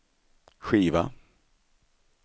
skiva